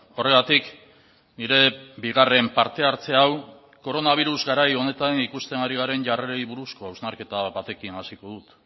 horregatik nire bigarren parte hartze hau koronabirus garai honetan ikusten ari garen jarrerei buruzko hausnarketa batekin hasiko dut